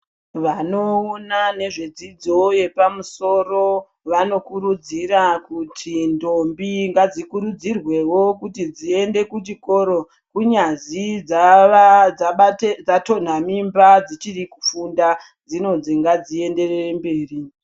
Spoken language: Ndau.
Vanoona ngezve dzidzo yepamusoro, vano kurudzira kuti ndombi ngadzi kurudzirwewo kuti dziende kuchikoro kunyazi dzatonha mimba dzichiri kufunda, dzinozwi ngadzi enderere mberi.